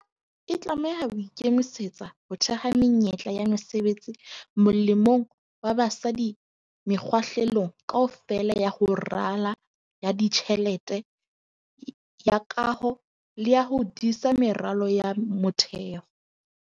E tlameha ho ikemisetsa ho theha menyetla ya mesebetsi molemong wa basadi mekga-hlelong kaofela ya ho rala, ya ditjhelete, ya kaho le ya ho disa meralo ya motheo.